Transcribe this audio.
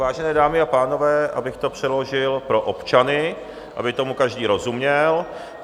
Vážené dámy a pánové, abych to přeložil pro občany, aby tomu každý rozuměl.